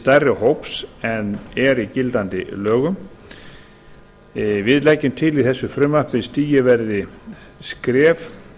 stærri hóps en er í gildandi lögum við leggjum til í þessu frumvarpi að stigið verði skref